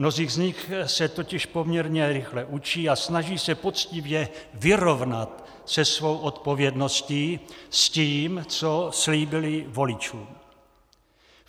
Mnozí z nich se totiž poměrně rychle učí a snaží se poctivě vyrovnat se svou odpovědností, s tím, co slíbili voličům.